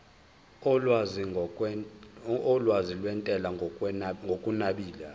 olwazi lwentela ngokunabile